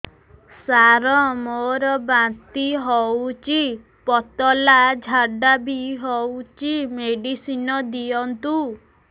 ସାର ମୋର ବାନ୍ତି ହଉଚି ପତଲା ଝାଡା ବି ହଉଚି ମେଡିସିନ ଦିଅନ୍ତୁ